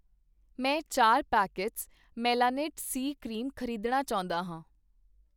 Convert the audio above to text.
ਮੈਂ ਚਾਰ packets Melanite C cream ਖ਼ਰੀਦਣਾ ਚਾਹੁੰਦਾ ਹਾਂ